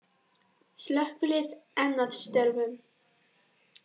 Slökkvilið enn að störfum